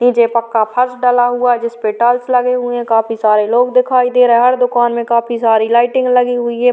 नीचे पक्का फर्श डला हुआ है जिसपे टाइल्स लगी हुई हैं काफी सारे लोग दिखाई दे रहे हैं हर दुकान में काफी सारी लाइटिंग लगी हुई है।